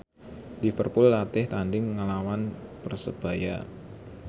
Liverpool latih tandhing nglawan Persebaya